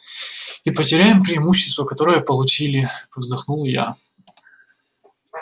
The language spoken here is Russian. и потеряем преимущество которое получили вздохнул я